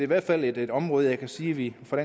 hvert fald et område som jeg kan sige vi fra